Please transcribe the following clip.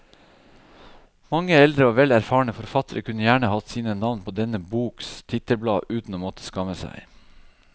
Mange eldre og vel erfarne forfattere kunne gjerne hatt sine navn på denne boks titelblad uten å måtte skamme seg.